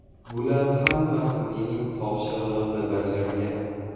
Bular hammasi mening topshirig‘imni bajargan.